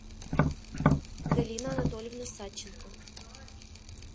галина анатольевна садченко